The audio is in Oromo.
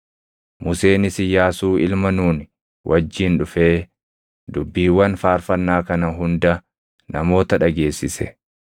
Museenis Iyyaasuu ilma Nuuni wajjin dhufee dubbiiwwan faarfannaa kana hunda namoota dhageessise.